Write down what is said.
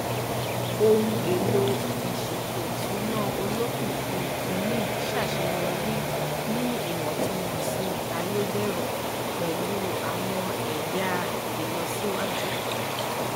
ohun èlò ìsètòìsúnà olókìkí ti mint ṣàṣeyọrí ní ìwòntúnwònsì àyẹdẹrò pẹlú àwọn ẹyà ìlọsíwájú